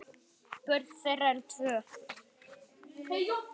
Börn þeirra eru tvö.